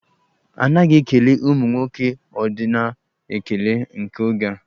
A naghị ekele ụmụ nwoke ọdịnaal ekele nke oge a.